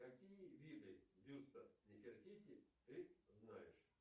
какие виды бюста нифертити ты знаешь